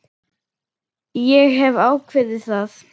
Ég hef ákveðið það.